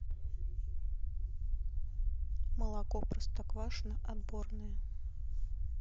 молоко простоквашино отборное